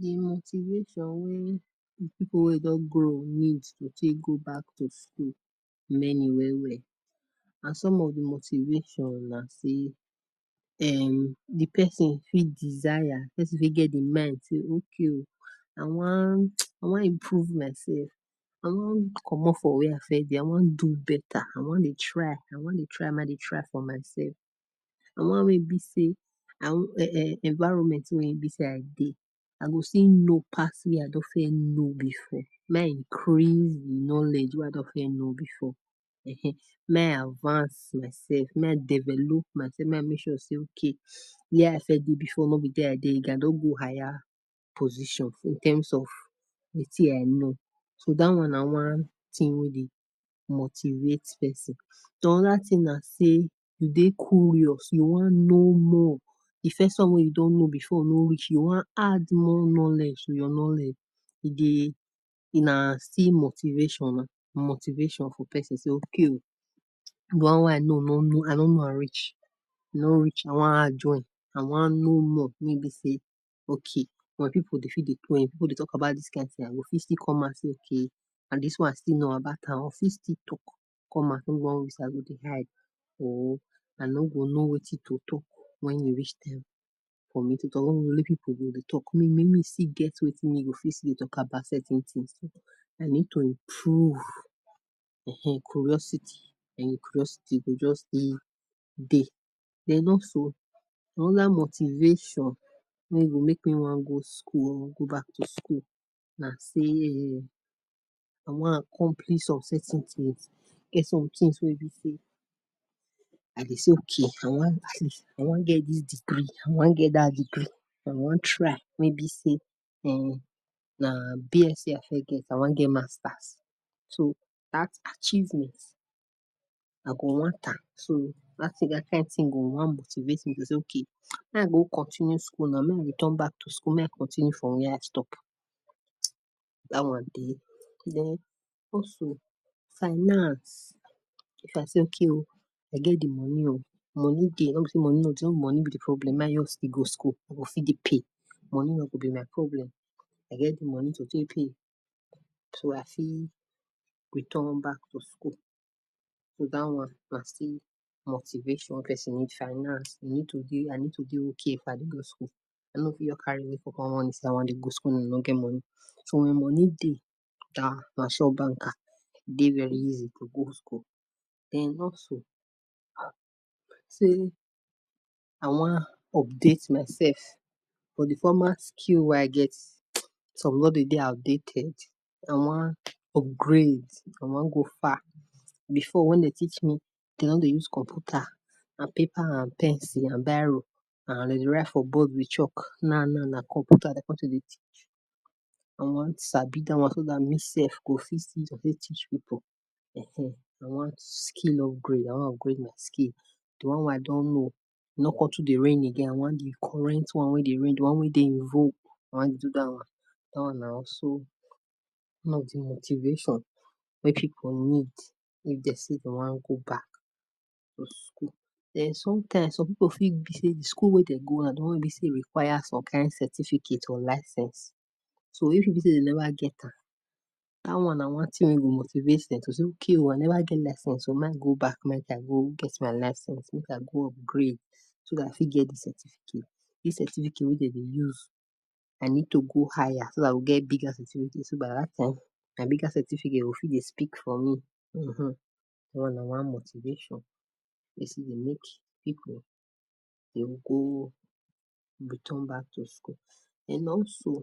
Di motivation wey di people wey don grow need go take go back to school many well and some of di motivation nah say[um] di person fit desire di person fit get di mind say okay o I wan I wan improve myself I wan comot from wey I first dey I wan do beta I wan dey try, wan dey try for myself I wan make e be say um environment wey e be say I dey I still know pass wey I don fit know before make I increase knowledge wey I don know before um make I adcance myself make I develop my self make I make sure be say okay wey I dey before no be wey dey now I don go higher position in terms of wetin I know so that one nah one tin wey dey motivate person another thing nah say you dey curious you wan know more di first one wey you know no reach you wan add more knowledge to your knowledge e dey still nah motivation motivation for person say okay o dis one wey I know I no know am reach no reach I wan add join I wan know more wey be say okay People dey talk about dis thing I go fit still come and go fit still come out and dis one still know about am o fit still talk Or I know go no wetin go talk wen you reach time for me to talk I need to improve um curiosity curiosity go just dey dey Den also Motivation make dey wan me go school make me go to school nah say I wan complete some certain things wey e be I dey okay I wan get dis degree I wan get dat degree I wan try wey be um na BSC I first get I wan get Masters so dat achievement I go want am so Motivate me say okay make I go continue school make we return to school make I continue from where stop Dan one dey Den also Finance If I say okay o I get di money o money dey Money be di problem I go fit dey pay money no go be my problem I get di money to So I fit return back to school dat one nah still motivation wey person finance So wen money dey nah sure banker e dey very easy to go school den also since I wan update myself on the formal skill wey I get some don dey outdated I wan upgrade I wan go far before wen dey teach Dem no dey use computer and paper and pencil and biro and write for board with chalk na nah dat computer I want to be teached I wan sabi dat one so dat me self go fit Teach people Um I wan skill upgrade I wan upgrade my skill di one wey I don know no con tu dey reign again I wan d current wey dey reign di one wey dey dey in vogue I wan do dat one dat one na so di motivation wey people need if Dem say dey wan go back to school den sometime some people fit bi say di school wey Dem go fit require some kain certificate for license so if e be say dey never get am dat one nah one thing wey go motivate dey to say okay o I never get license o make I go back make I go get my license make I go upgrade so that I fit get certificate dis certificate wey Dem dey use I need to go higher so that I will get bigger certificate I I write am my bigger certificate go dey fit dey speak for me um Person dey go return back to school and also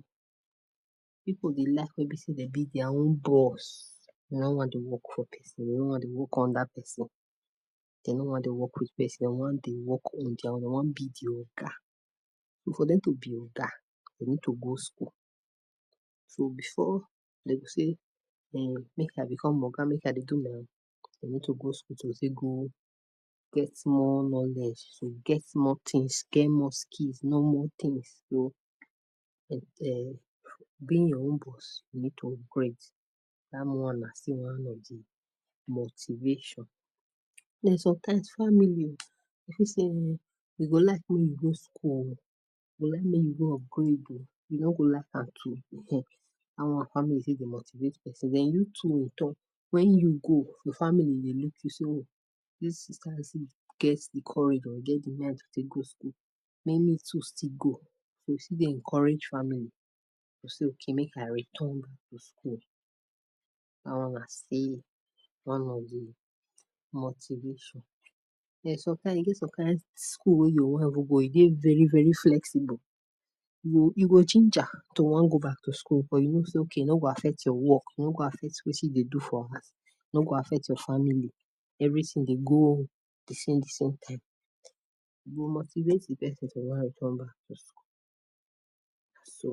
people dey like wey Dem be their own boss u no wan dey work for person u no wan dey work under person Dem no wan dey work with person dey wan dey work in their own dey wan be di Oga and for Dem to be Oga dey need to go school so before dey go school dey go say make I become Oga make I do my dey need to go go school to get more knowledge to get more things more skills know more things um to be your own boss you need to upgrade Dan nah Motivation and sometimes family dey fit say um we go like make you go school o we go like make you go upgrade o you no go like am too[um] Dan one family don dey motivate person wen you too you talk wen you go your family dey look you say o dis sister still get di courage get di mind to still go to school Go still dey encourage family so make I return to school Den sometime e get some wey school you wan go e dey very very flexible you go ginger to wan go back to school but you go no say e no go affect your work e no go affect wetin e dey do for house e no go affect your family everything dey go di same di same time go motivate di person to go return back to school nah so